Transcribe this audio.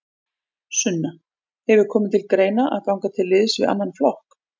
Sunna: Hefur komið til greina að ganga til liðs við annan flokk?